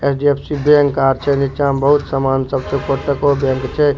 HDFC. Bank आर छे नीचा में बहुत सामान सब छे कोटको बैंक छे।